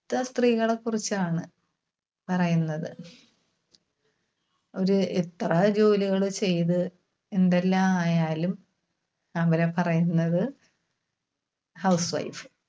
ത്ത സ്ത്രീകളെ കുറിച്ചാണ് പറയുന്നത്. ഒരു എത്ര ജോലികള് ചെയ്‌ത്‌ എന്തെല്ലാ ആയാലും അവരെ പറയുന്നത് housewife.